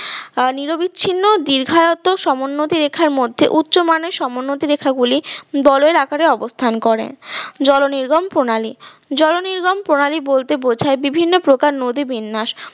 আহ নিরবিচ্ছিন্ন দীর্ঘায়ও সমোন্নতি রেখার মধ্যে উচ্চমানের সমোন্নতি রেখা গুলি বলয়ের আকারে অবস্থান করে জলনির্গম প্রণালী জলনির্গম প্রণালী বলতে বোঝায় বিভিন্ন প্রকার নদী বিন্যাস